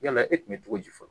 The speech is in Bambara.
Yala e tun bɛ cogo di fɔlɔ